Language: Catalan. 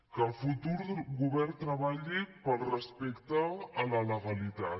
que el futur govern treballi pel respecte a la legalitat